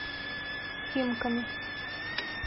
химками